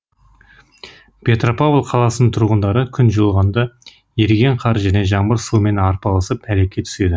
петропавл қаласының тұрғындары күн жылынғанда еріген қар және жаңбыр суымен арпалысып әлекке түседі